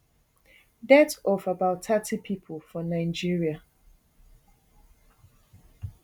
death of about thirty pipo for nigeria